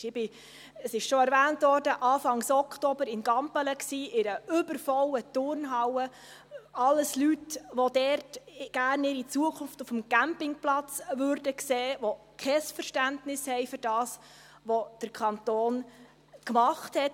Ich war – es wurde schon erwähnt – Anfang Oktober in Gampelen in einer übervollen Turnhalle: alles Leute, die ihre Zukunft gerne dort auf dem Campingplatz sehen würden, die kein Verständnis haben für das, was der Kanton gemacht hat.